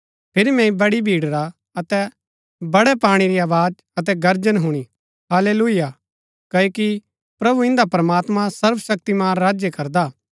फिरी मैंई बड़ी भीड़ रा अतै बड़ै पाणी री आवाज अतै गर्जन हुणी हाल्लेलुयाह क्ओकि प्रभु इन्दा प्रमात्मां सर्वशक्तिमान राज्य करदा हा